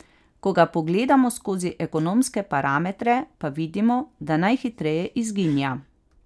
Ko ga pogledamo skozi ekonomske parametre, pa vidimo, da najhitreje izginja.